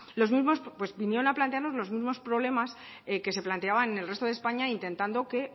vinieron a plantearnos los mismos problemas que se planteaban en el resto de españa intentando que